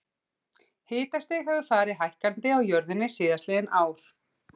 Hitastig hefur farið hækkandi á jörðinni síðastliðin ár.